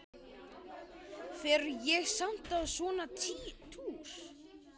Fer ég samt á svona túr?